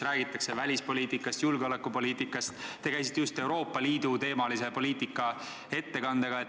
Räägitakse välispoliitikast, räägitakse julgeolekupoliitikast – te käisite just meie ees Euroopa Liidu teemalise poliitika ettekandega.